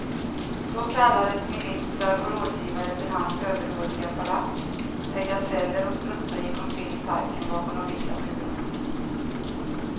Då kallades ministrar och rådgivare till hans överdådiga palats, där gaseller och strutsar gick omkring i parken bakom de vita murarna.